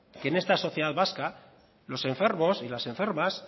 que en esta sociedad vasca los enfermos y las enfermas